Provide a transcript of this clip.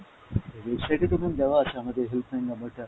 website এ তো ma'am দেওয়া আছে আমাদের helpline number টা।